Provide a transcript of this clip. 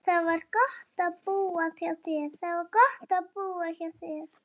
Það var gott að búa hjá þér.